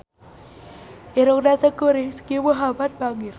Irungna Teuku Rizky Muhammad bangir